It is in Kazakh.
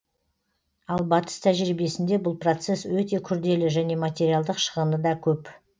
ал батыс тәжірибесінде бұл процесс өте күрделі және материалдық шығыны да көп